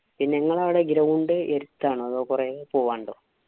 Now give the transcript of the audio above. പിന്നെ നിങ്ങടെ അവിടെ ground എടുത്താണോ? അതോ കൊറേ പോവാനുണ്ടോ?